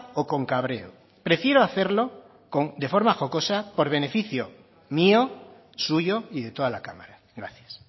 o con cabreo prefiero hacerlo de forma jocosa por beneficio mío suyo y de toda la cámara gracias